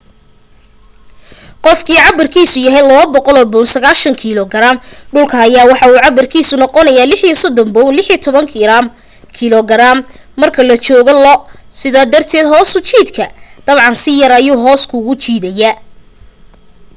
qofkii cabirkiisu yahay 200 pound 90kg dhulka ayaa waxa uu cabirkiisa noqonaaya 36 pound 16kg marka la joogo lo. sidaa darted hoos u jiidka dabcan si yar ayuu hoos kuugu jiidaya